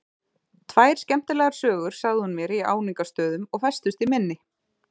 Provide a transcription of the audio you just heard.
Tvær skemmtilegar sögur sagði hún mér í áningarstöðum og festust í minni.